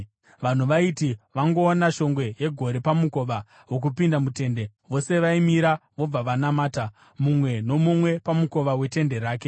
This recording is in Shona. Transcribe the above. Vanhu vaiti vangoona shongwe yegore pamukova wokupinda mutende, vose vaimira vobva vanamata, mumwe nomumwe pamukova wetende rake.